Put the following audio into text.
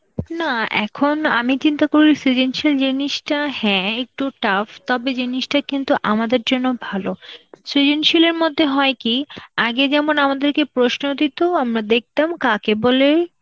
না এখন আমি চিন্তা করেছি সৃজনশীল জিনিসটা হ্যাঁ একটু tough, তবে জিনিসটা কিন্তু তোমাদের জন্য ভালো. সৃজনশিল এর মধ্যে হয় কি আগে যেমন আমাদেরকে প্রশ্ন দিত, আমরা দেখতাম কাকে বলে,